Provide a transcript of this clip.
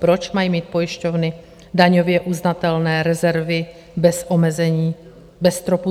Proč mají mít pojišťovny daňově uznatelné rezervy bez omezení, bez stropu?